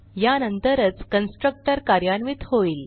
यानंतरच constructor कार्यान्वित होईल